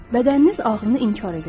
Bədəniniz ağrını inkar edəcək.